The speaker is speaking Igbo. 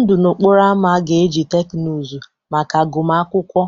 Ndụ n'okporo ámá ga-eji teknụzụ maka agụmakwụkwọ,